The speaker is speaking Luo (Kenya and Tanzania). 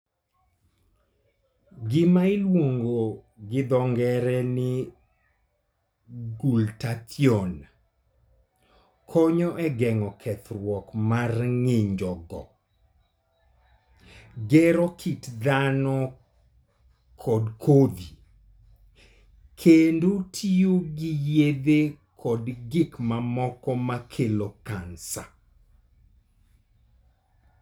Gima iluongo gi dho ng'ere ni glutathione konyo e geng'o kethruok mar ng'injogo, gero kit dhano kod kodhi, kendo tiyo gi yedhe kod gik mamoko ma kelo kansa.